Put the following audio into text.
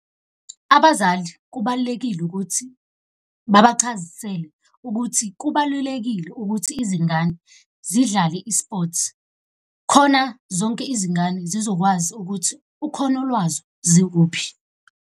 Abazali kubalulekile ukuthi babachazisele ukuthi kubalulekile ukuthi izingane zidlale i-sports, khona zonke izingane zizokwazi ukuthi ukhono lwazo zikuphi.